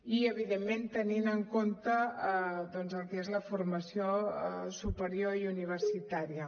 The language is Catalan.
i evidentment tenint en compte doncs el que és la formació superior i universitària